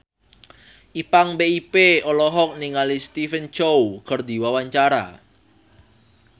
Ipank BIP olohok ningali Stephen Chow keur diwawancara